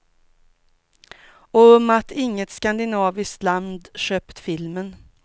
Och om att inget skandinaviskt land köpt filmen.